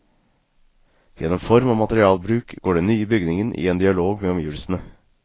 Gjennom form og materialbruk går den nye bygningen i en dialog med omgivelsene.